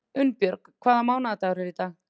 Unnbjörg, hvaða mánaðardagur er í dag?